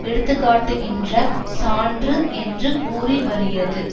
எடுத்துக்காட்டுகின்ற சான்று என்று கூறி வருகிறது